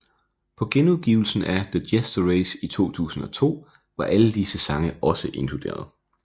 På genudgivelsen af The Jester Race i 2002 var alle disse sange også inkluderet